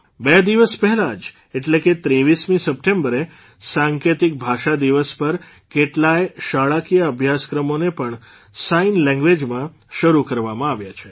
બે દિવસ પહેલાં જ એટલે કે ૨૩મી સપ્ટેંબરે સાંકેતિક ભાષા દિવસ પર કેટલાય શાળાકીય અભ્યાસક્રમોને પણ સાઇન લેંગ્વેઝમાં શરૂ કરવામાં આવ્યા છે